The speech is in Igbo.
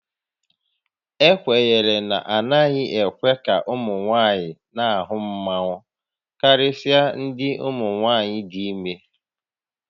Ekwenyere na a naghị ekwe ka ụmụ nwaanyị na-ahụ mmanwu karịsịa ndị umunwaayị dị ime